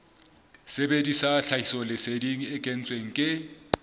sebedisa tlhahisoleseding e kentsweng ke